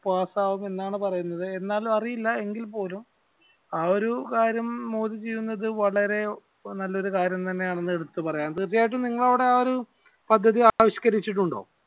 pass ആകുമെന്നാണ് പറയുന്നത് എന്നാണ് അറിയില്ല എങ്കിൽ പോലും ആ ഒരു ക്ളര്യം മോദി ചെയ്യുന്നത് വളരെ നല്ലൊരു കാര്യം തന്നെ ആണെന്ന് എടുത്ത് പറയാം തീർച്ചയായിട്ടും നിങ്ങടെ അവിടെ ആ ഒരു പദ്ധതി ആവിഷ്കരിച്ചിട്ടുണ്ടോ